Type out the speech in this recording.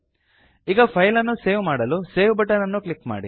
ಈಗ ಫೈಲ್ ಅನ್ನು ಸೇವ್ ಮಾಡಲು ಸೇವ್ ಬಟನ್ ಅನ್ನು ಕ್ಲಿಕ್ ಮಾಡಿ